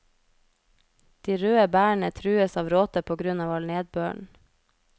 De røde bærene trues av råte på grunn av all nedbøren.